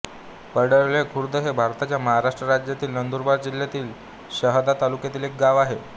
पाडळदे खुर्द हे भारताच्या महाराष्ट्र राज्यातील नंदुरबार जिल्ह्यातील शहादा तालुक्यातील एक गाव आहे